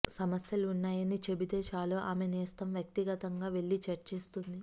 సమస్యలు ఉన్నాయని చెబితే చాలు ఆమె నేస్తం వ్యక్తిగతంగా వెళ్లి చర్చిస్తుంది